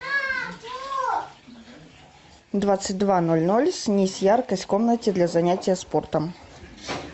в двадцать два ноль ноль снизь яркость в комнате для занятия спортом